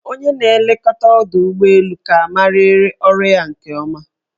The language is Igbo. Onye na-elekọta ọdọụgbọelu ka amariri ọrụ ya nke ọma.